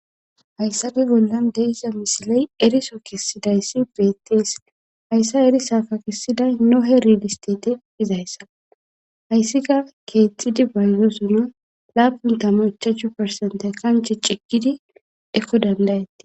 hayssappe bollan de'iza misiley eriso kessidayssi beettees hayssa erisakka kessiday nohe rilistete gizayssa hayssika keexxidi bayzosono laapun tamu ichchachchu persente kanche ciggidi ekko dandayatti